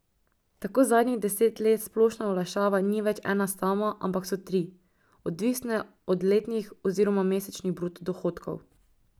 Tako zadnjih deset let splošna olajšava ni več ena sama, ampak so tri, odvisne od letnih oziroma mesečnih bruto dohodkov.